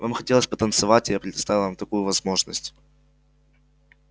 вам хотелось потанцевать и я предоставил вам такую возможность